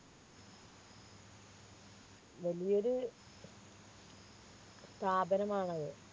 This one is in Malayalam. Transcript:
വലിയൊരു സ്ഥാപനമാണത്